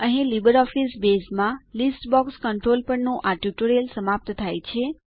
અહીં લીબરઓફીસ બેઝમાં list box control પરનું આ ટ્યુટોરીયલ સમાપ્ત થાય છે